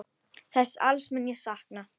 Þessa alls mun ég sakna.